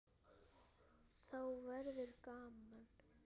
Þá verður gaman.